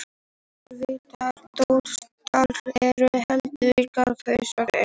Heildarfjöldi villtra drómedara eru einhverjar þúsundir einstaklinga.